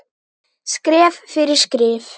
Skref fyrir skrif.